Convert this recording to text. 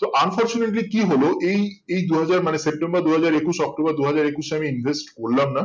তো unfortunately কি হলো এই এই দুই হাজার সেপ্টেম্বর দুই হাজার একুশ অক্টোবর দুই হাজার একুশে আমি invest করলাম না